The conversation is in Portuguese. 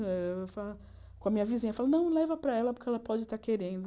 Com a minha vizinha, eu falava, não, leva para ela porque ela pode estar querendo.